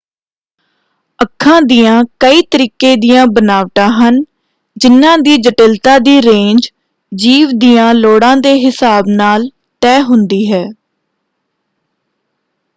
ਅੱਖਾਂ ਦੀਆਂ ਕਈ ਤਰੀਕੇ ਦੀਆਂ ਬਨਾਵਟਾਂ ਹਨ ਜਿਨ੍ਹਾਂ ਦੀ ਜਟਿਲਤਾ ਦੀ ਰੇਂਜ ਜੀਵ ਦੀਆਂ ਲੋੜਾਂ ਦੇ ਹਿਸਾਬ ਨਾਲ ਤੈਅ ਹੁੰਦੀ ਹੈ।